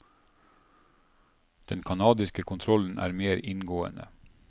Den kanadiske kontrollen er mer inngående.